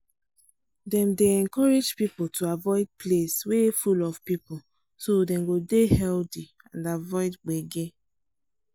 dem dey encourage people to avoid place wey full of people so dem go dey healthy and avoid gbege.